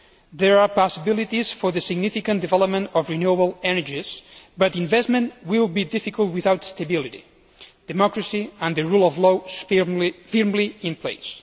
There are possibilities for the significant development of renewable energies, but investment will be difficult without stability, democracy and the rule of law firmly in place.